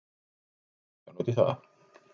Við spurðum Kristján út í það.